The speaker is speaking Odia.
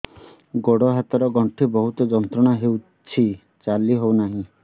ଗୋଡ଼ ହାତ ର ଗଣ୍ଠି ବହୁତ ଯନ୍ତ୍ରଣା ହଉଛି ଚାଲି ହଉନାହିଁ